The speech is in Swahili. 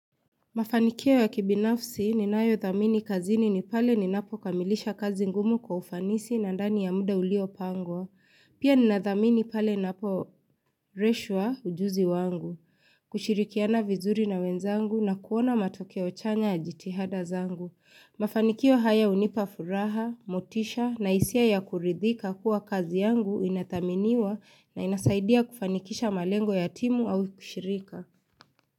Mafanikio ya kibinafsi ninayo thamini kazini ni pale ninapo kamilisha kazi ngumu kwa ufanisi na ndani ya muda ulio pangwa. Pia ninathamini pale naporeshwa ujuzi wangu. Kushirikiana vizuri na wenzangu na kuona matokeo chanya yajitihada zangu. Mafanikio haya unipafuraha, motisha na isia ya kuridhika kuwa kazi yangu inathaminiwa na inasaidia kufanikisha malengo ya timu au kishirika.